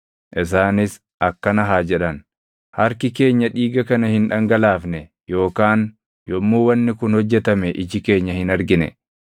Isaanis akkana haa jedhan: “Harki keenya dhiiga kana hin dhangalaafne yookaan yommuu wanni kun hojjetame iji keenya hin argine.